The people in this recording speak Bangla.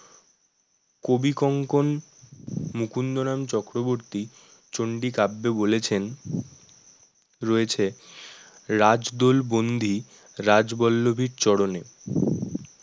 কবিকঙ্ক মুকুন্দরাম চক্রবর্তী চন্ডী কাব্য বলেছেন রয়েছে রাজদোল বন্দী রাজবল্লভীর চরণে